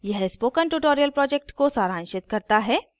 यह spoken tutorial project को सारांशित करता है